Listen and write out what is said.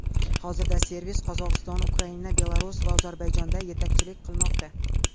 Hozirda servis Qozog‘iston, Ukraina, Belarus va Ozarbayjonda yetakchilik qilmoqda.